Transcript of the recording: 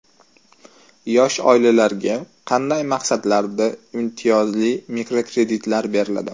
Yosh oilalarga qanday maqsadlarda imtiyozli mikrokreditlar beriladi?.